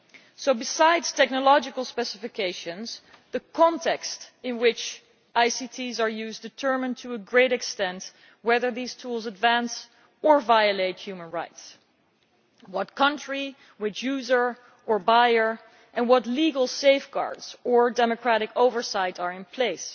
So besides technological specifications, the context in which ICTs are used determines to a great extent whether these tools advance or violate human rights what country, which user or buyer, and what legal safeguards or democratic oversight are in place.